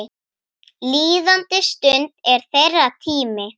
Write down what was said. Líðandi stund er þeirra tími.